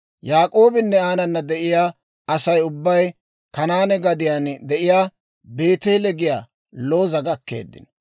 Yaak'oobinne aanana de'iyaa Asay ubbay Kanaane gadiyaan de'iyaa (Beeteele giyaa) Looza gakkeeddino.